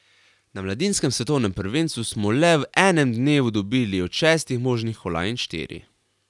Na mladinskem svetovnem prvenstvu smo le v enem dnevu dobili od šestih možnih kolajn štiri.